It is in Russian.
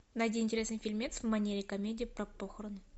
найди интересный фильмец в манере комедия про похороны